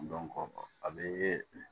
a bɛ